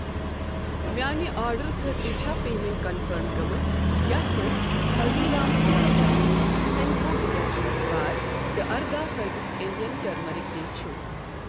میانہِ آرڈرُ خٲطرٕ چھا پیمیٚنٹ کنفٔرم گٔمٕژ یتھ مَنٛز ہلدیٖرامز گۄلاب جامُن ہٮ۪نٛکو ڈِٹٔرجنٛٹ بار تہٕ ۱۸ ہربس اِنٛڈین ٹٔرمٔرِک ٹی چھ؟